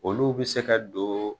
Olu bɛ se ka don